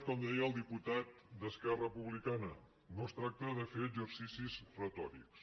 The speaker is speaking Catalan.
com deia el diputat d’esquerra republica·na no es tracta de fer exercicis retòrics